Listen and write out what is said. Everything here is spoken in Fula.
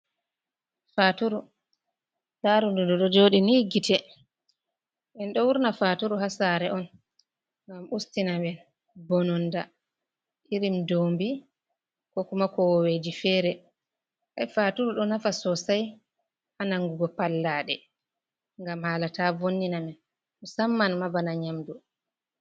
Faturu larudu dido jodi ni gite, en do wurna faturu hasare on ngam ustinaen bononda irim dobi kokuma kowoje fere hai faturu do nafa sosai hanangugo pallade gam hala ta vonnina men musamman mabana nyamdu.